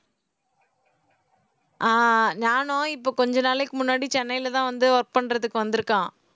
ஆஹ் ஞானம் இப்ப கொஞ்ச நாளைக்கு முன்னாடி சென்னையிலதான் வந்து work பண்றதுக்கு வந்திருக்கான்